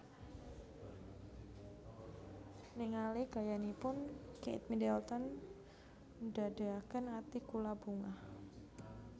Ningali gayanipun Kate Middleton ndadeaken ati kula bungah